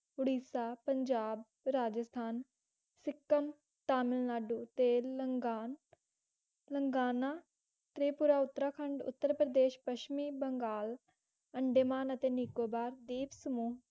ਉੜੀਸਾ ਪੰਜਾਬ ਰਾਜਸਥਾਨ ਸਿੱਕਮ ਤਮਿਲ ਨਾਡੂ ਤੇ ਲੰਗਾਂ ਲੰਗਾਨਾ ਤ੍ਰਿਪੁਰਾ ਉੱਤਰਾਖੰਡ ਉੱਤਰ ਪ੍ਰਦੇਸ਼ ਪੱਛਮੀ ਬੰਗਾਲ ਅੰਡੇਮਾਨ ਅਤੇ ਨਿਕੋਬਾਰ ਦੀਪ ਸਮੂਹ